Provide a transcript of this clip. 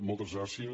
moltes gràcies